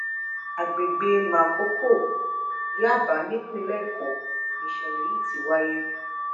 àgbègbè màkókò yàbá nípìnlẹ èkó nìṣẹlẹ yìí ti wáyé